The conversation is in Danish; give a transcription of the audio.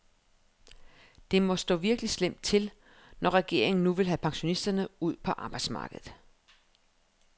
Det må stå virkelig slemt til, når regeringen nu vil have pensionisterne ud på arbejdsmarkedet.